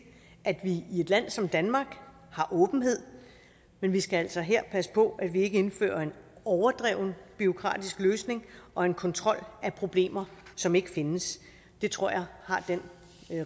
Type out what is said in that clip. at vi i et land som danmark har åbenhed men vi skal altså her passe på at vi ikke indfører en overdreven bureaukratisk løsning og en kontrol af problemer som ikke findes det tror jeg har den